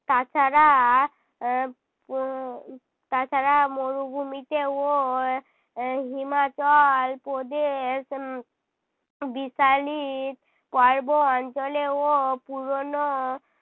তাছাড়া আহ তাছাড়া মরুভূমিতে ও আহ হিমাচল প্রদেশ উম বিশালিত পর্ব অঞ্চলে ও পুরোনো